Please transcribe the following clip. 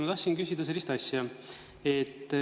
Ma tahtsin küsida sellist asja.